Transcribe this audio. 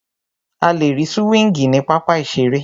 A lè rí súwíngì ní pápá ìseré